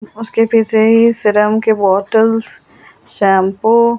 Serum के bottles shampoo.